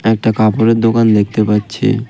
একটা কাপড়ের দোকান দেখতে পাচ্ছি .